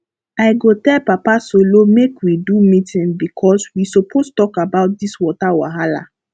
i go tell papa solo make we do meeting because we suppose talk about dis water wahala